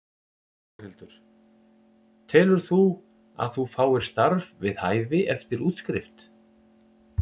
Þórhildur: Telur þú að þú fáir starf við hæfi eftir útskrift?